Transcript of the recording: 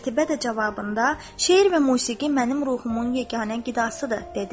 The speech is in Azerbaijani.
Qətibə də cavabında, şeir və musiqi mənim ruhumun yeganə qidasıdır, dedi.